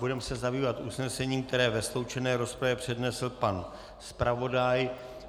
Budeme se zabývat usnesením, které ve sloučené rozpravě přednesl pan zpravodaj.